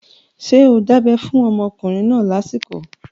Ṣé o dábẹ́ fún ọmọkùnrin náà lásìkò?